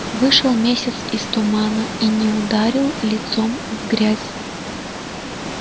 вышел месяц из тумана и не ударил лицом в грязь